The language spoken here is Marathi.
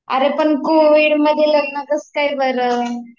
अरे पण कोविडमध्ये लग्न कसकाय बरं